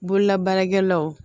Bololabaarakɛlaw